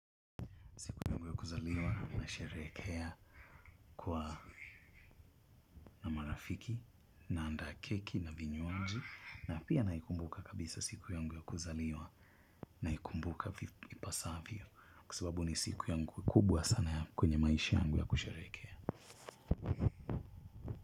Siku yangu ya kuzaliwa na sherehekea kwa na marafiki na andaa keki na vinywanji. Na pia naikumbuka kabisa siku yangu ya kuzaliwa naikumbuka vipasavyo. Kwa sababu ni siku yangu kubwa sana kwenye maishi yangu ya kusherehekea.